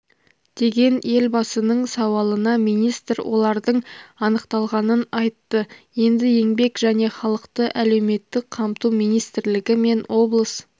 деген елбасының сауалына министр олардың анықталғанын айтты енді еңбек және халықты әлеуметтік қамту министрлігі мен облыс